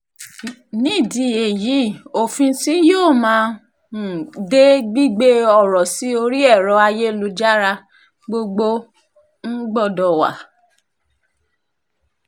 nídìí èyí òfin tí yóò máa um de gbígbé ọ̀rọ̀ sí orí ẹ̀rọ ayélujára gbogbo um gbọ́dọ̀ wà